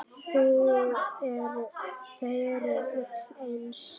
Þau eru öll eins.